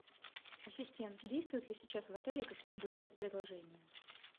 ассистент действуют ли сейчас в отеле какие нибудь спецпредложения